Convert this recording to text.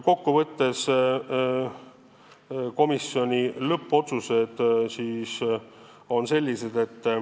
Kokku võttes olid komisjoni lõppotsused sellised.